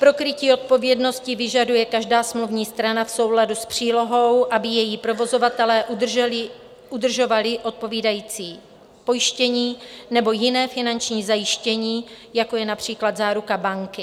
Pro krytí odpovědnosti vyžaduje každá smluvní strana v souladu s přílohou, aby její provozovatelé udržovali odpovídající pojištění nebo jiné finanční zajištění, jako je například záruka banky.